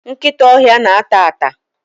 nkịta ọhịa na-ata ata